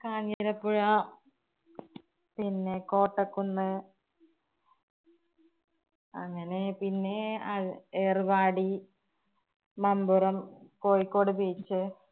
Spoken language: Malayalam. കാഞ്ഞിരപ്പുഴ, പിന്നെ കോട്ടക്കുന്ന് അങ്ങനെ പിന്നെ അഹ് ഏറുവാടി, മമ്പുറം, കോഴിക്കോട് beach